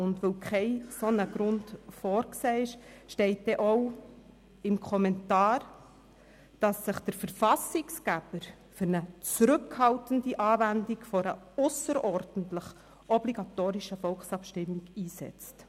Liegt kein solcher Grund vor, hat sich der Verfassungsgeber gemäss diesem Kommentar für eine zurückhaltende Anwendung einer ausserordentlichen obligatorischen Volkabstimmung einzusetzen.